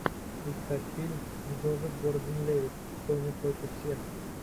искать фильм джозеф гордон левитт тоня против всех